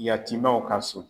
Yatimɛw ka so